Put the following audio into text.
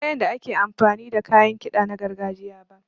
Ban san yanda ake amfani da kayan kiɗa na gargajiya ba.